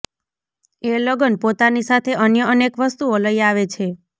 એ લગન પોતાની સાથે અન્ય અનેક વસ્તુઓ લઈ આવે છે